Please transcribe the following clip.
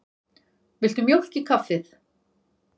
Viltu mjólk í kaffið?